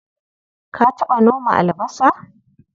Ka taɓa noma albasa?